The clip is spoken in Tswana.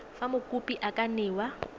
fa mokopi a ka newa